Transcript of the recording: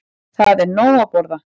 Það er nóg að borða.